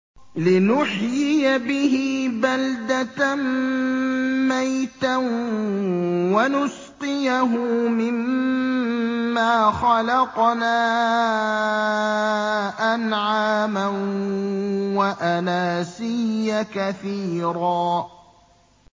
لِّنُحْيِيَ بِهِ بَلْدَةً مَّيْتًا وَنُسْقِيَهُ مِمَّا خَلَقْنَا أَنْعَامًا وَأَنَاسِيَّ كَثِيرًا